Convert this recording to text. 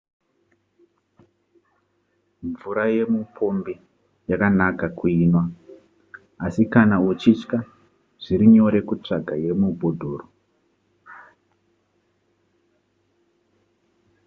mvura yemupombi yakanaka kuinwa asi kana uchitya zviri nyore kutsvaga yemubhodhoro